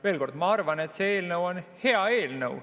Veel kord, ma arvan, et see on hea eelnõu.